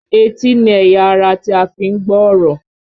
Etí ni ẹ̀yà ara tí a fi ń gbọ́ ọ̀rọ̀